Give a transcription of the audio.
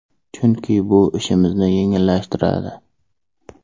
Chunki bu ishimizni yengillashtiradi.